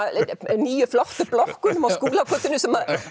nýju flottu blokkunum á Skúlagötunni